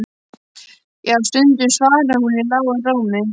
Jú, stundum, svaraði hún í lágum rómi.